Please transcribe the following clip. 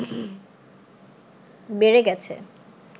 বেড়ে গেছে